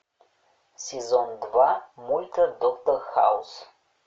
сезон два мульта доктор хаус